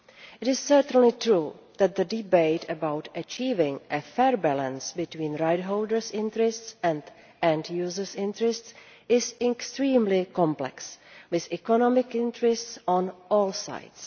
It is certainly true that the debate about achieving a fair balance between right holders' interests and end users' interests is extremely complex, with economic interests on all sides.